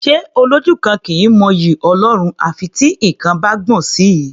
Ṣé Olójú kan kì í mọ'yì Ọlọ́run à fi tí nǹkan bá gbọ̀n sí i?